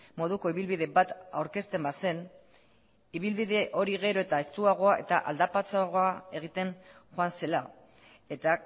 moduko ibilbide bat aurkezten bazen ibilbide hori gero eta estuagoa eta aldapatsuagoa egiten joan zela eta